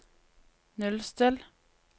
nullstill